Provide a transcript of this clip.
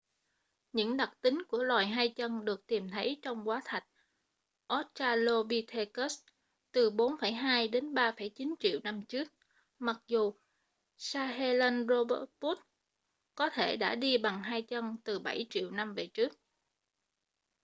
những đặc tính của loài hai chân được tìm thấy trong hóa thạch australopithecus từ 4,2-3,9 triệu năm trước mặc dù sahelanthropus có thể đã đi bằng hai chân từ bảy triệu năm về trước